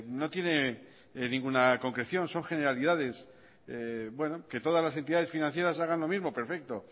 no tiene ninguna concreción son generalidades que todas las entidades financieras hagan lo mismo perfecto